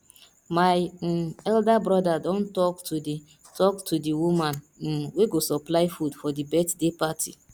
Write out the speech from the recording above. my um elder broda don talk to the talk to the woman um wey go supply food for the birthday party